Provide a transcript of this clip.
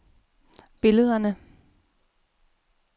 billederne